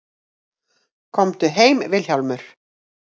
Komdu heim Vilhjálmur.